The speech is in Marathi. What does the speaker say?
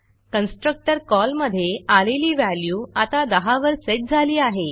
कन्स्ट्रक्टर कॉलमधे आलेली व्हॅल्यू आता 10 वर सेट झाली आहे